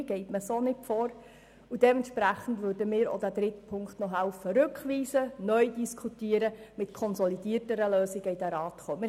Dies ist keine Vorgehensweise, und entsprechend würden auch wir mithelfen, den dritten Punkt zurückzuweisen, diesen neu zu diskutieren und mit konsolidierten Lösungen in diesen Rat zu kommen.